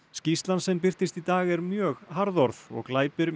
skýrslan sem birtist í dag er mjög harðorð og glæpir